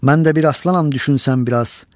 Mən də bir aslanam düşünsən bir az.